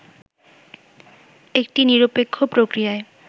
একটি নিরপেক্ষ প্রক্রিয়ায়